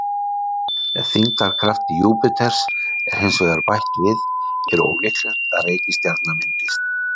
Ef þyngdarkrafti Júpíters er hins vegar bætt við er ólíklegt að reikistjarna myndist.